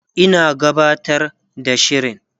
Ina gabatar da shirin